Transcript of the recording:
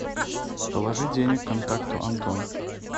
положи денег контакту антон